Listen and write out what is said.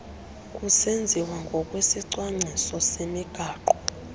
kusenziwa ngokwesicwangciso semigaqo